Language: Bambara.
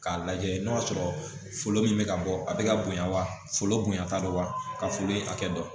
K'a lajɛ n'o y'a sɔrɔ foro min bɛ ka bɔ a bɛ ka bonya wa foro bonya t'a dɔn wa ka foro in hakɛ dɔn